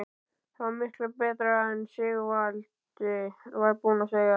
Það var miklu betra en Sigvaldi var búinn að segja.